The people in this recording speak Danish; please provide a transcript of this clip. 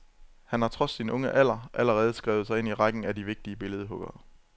Han har trods sin unge alder allerede skrevet sig ind rækken af de vigtige billedhuggere.